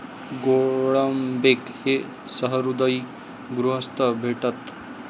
गोळंबेक हे सहृदयी गृहस्थ भेटत.